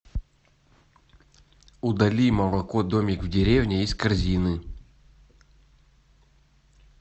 удали молоко домик в деревне из корзины